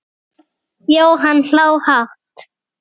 Jóhann hló hátt.